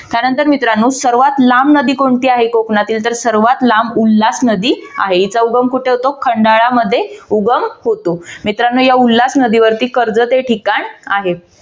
त्यानंतर मित्रांनो सर्वात लांब नदी कोणती आहे कोकणातील तर सर्वात लांब उल्हास नदी आहे. हीचा उगम कुठे होतो खंडाळा मध्ये उगम होतो. मित्रांनो या उल्हास नदीवरती कर्जत ठिकाण आहे.